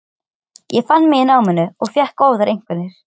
Ég fann mig í náminu og fékk góðar einkunnir.